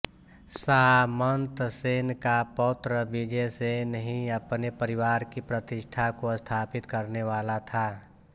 सामन्तसेन का पौत्र विजयसेन ही अपने परिवार की प्रतिष्ठा को स्थापित करने वाला था